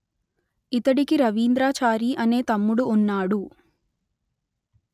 ఇతడికి రవీంద్రాచారి అనే తమ్ముడు ఉన్నాడు